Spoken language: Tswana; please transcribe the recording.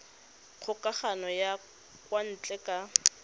kgokagano ya kwa ntle ka